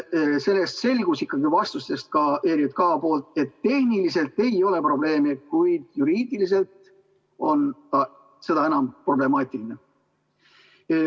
ERJK vastustest selgus, et tehniliselt ei ole probleemi, kuid juriidiliselt on see seda enam problemaatiline.